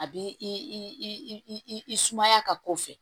A b'i i i sumaya ka ko fɛ